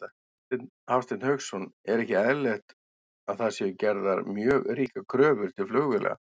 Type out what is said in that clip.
Hafsteinn Hauksson: Er ekki eðlilegt að það séu gerðar mjög ríkar kröfur til flugvéla?